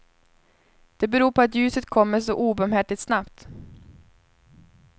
Det beror på att ljuset kommer så obarmhärtigt snabbt.